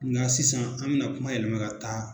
Ŋa sisan an bɛna kuma yɛlɛma ka taa